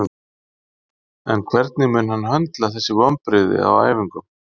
En hvernig mun hann höndla þessi vonbrigði á æfingum?